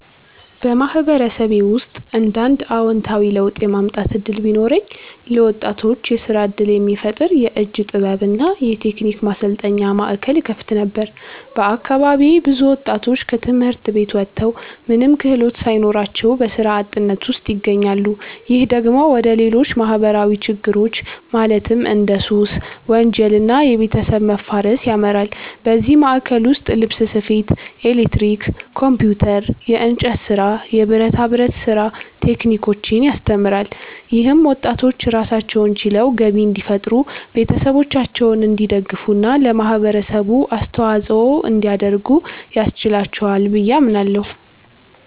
በማህበረሰቤ ውስጥ አንድ አዎንታዊ ለውጥ የማምጣት እድል ቢኖረኝ፣ ለወጣቶች የስራ እድል የሚፈጥር የእጅ ጥበብ እና የቴክኒክ ማሰልጠኛ ማዕከል እከፍት ነበር። በአካባቢዬ ብዙ ወጣቶች ከትምህርት ቤት ወጥተው ምንም ክህሎት ሳይኖራቸው በስራ አጥነት ውስጥ ይገኛሉ። ይህ ደግሞ ወደ ሌሎች ማህበራዊ ችግሮች ማለትም እንደ ሱስ፣ ወንጀል እና የቤተሰብ መፋረስ ያመራል። በዚህ ማዕከል ውስጥ ልብስ ስፌት፣ ኤሌክትሪክ፣ ኮምፒውተር፣ የእንጨት ስራ፣ የብረታ ብረት ስራ ቴክኒኮችን ያስተምራል። ይህም ወጣቶች ራሳቸውን ችለው ገቢ እንዲፈጥሩ፣ ቤተሰቦቻቸውን እንዲደግፉ እና ለማህበረሰቡ አስተዋጽኦ እንዲያደርጉ ያስችላቸዋል ብዬ አምናለሁ።